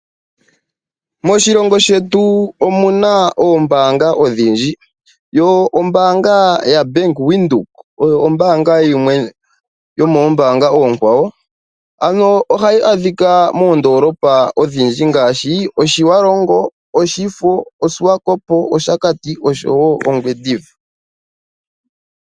Moshilongo shetu omuna oombaanga odhindji, yo ombaanga yBank Windhoek oyo ombaanga yimwe yomombaanga oonkwawo, ano ohayi adhika moondolopa ondhindji ngaashi Otjiwarongo, Oshifo, Swakopmund, Oshakati oshowo Ongwediva.